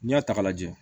N'i y'a ta k'a lajɛ